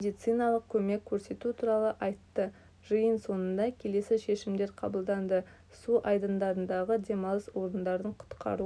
медициналық көмек көрсету туралы айтты жиын соңында келесі шешімдер қабылданды су айдандарындағы демалыс орындарын құтқару